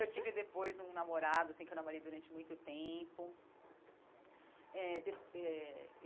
Eu tive depois um namorado assim que eu namorei durante muito tempo eh eh.